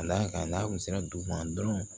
Ka d'a kan n'a kun sera dugu ma dɔrɔn